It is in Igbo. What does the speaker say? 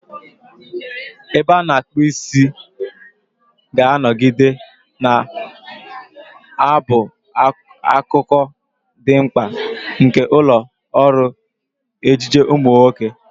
Ebe a na-akpu isi ga-anọgide na-abụ akụkụ dị mkpa nke ụlọ ọrụ ejiji ụmụ nwoke.